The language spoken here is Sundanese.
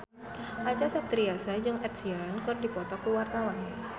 Acha Septriasa jeung Ed Sheeran keur dipoto ku wartawan